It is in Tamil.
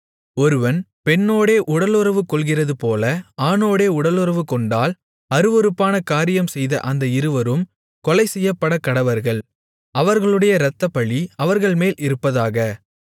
ஒருவன் பெண்ணோடே உடலுறவு கொள்கிறதுபோல ஆணோடே உடலுறவுகொண்டால் அருவருப்பான காரியம் செய்த அந்த இருவரும் கொலைசெய்யப்படக்கடவர்கள் அவர்களுடைய இரத்தப்பழி அவர்கள்மேல் இருப்பதாக